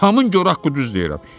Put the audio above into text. Atamın gor haqqı düz deyirəm.